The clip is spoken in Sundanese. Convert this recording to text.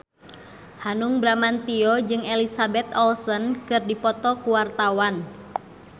Hanung Bramantyo jeung Elizabeth Olsen keur dipoto ku wartawan